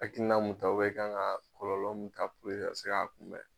Hakilina mun ta ubiyɛn i kan ka kɔlɔlɔ mun ta puru ke e ka se ka kunbɛn